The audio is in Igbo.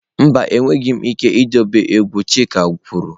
Mba, enweghị m ike idobe egwu chike kwuru.